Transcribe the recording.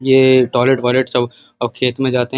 ये टॉयलेट वॉइलेट सब अब खेत में जाते हैं।